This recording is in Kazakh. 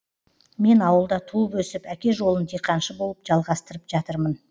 мен ауылда туып өсіп әке жолын диқаншы болып жалғыстырып жатырмын